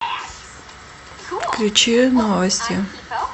включи новости